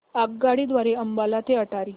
आगगाडी द्वारे अंबाला ते अटारी